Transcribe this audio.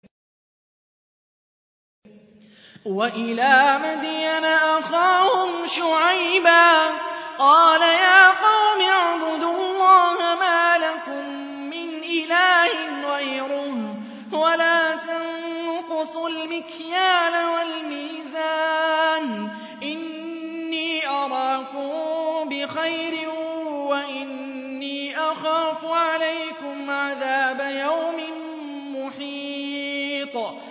۞ وَإِلَىٰ مَدْيَنَ أَخَاهُمْ شُعَيْبًا ۚ قَالَ يَا قَوْمِ اعْبُدُوا اللَّهَ مَا لَكُم مِّنْ إِلَٰهٍ غَيْرُهُ ۖ وَلَا تَنقُصُوا الْمِكْيَالَ وَالْمِيزَانَ ۚ إِنِّي أَرَاكُم بِخَيْرٍ وَإِنِّي أَخَافُ عَلَيْكُمْ عَذَابَ يَوْمٍ مُّحِيطٍ